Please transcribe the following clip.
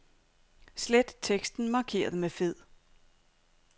Slet teksten markeret med fed.